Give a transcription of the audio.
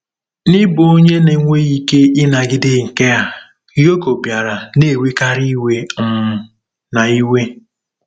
N'ịbụ onye na-enweghị ike ịnagide nke a, Yoko bịara na-ewekarị iwe um na iwe..